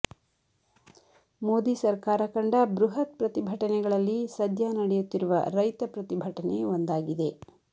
ಮೋದಿ ಸರ್ಕಾರ ಕಂಡ ಬೃಹತ್ ಪ್ರತಿಭಟನೆಗಳಲ್ಲಿ ಸದ್ಯ ನಡೆಯುತ್ತಿರುವ ರೈತ ಪ್ರತಿಭಟನೆ ಒಂದಾಗಿದೆ